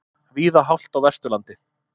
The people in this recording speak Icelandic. Víða hált á Vesturlandi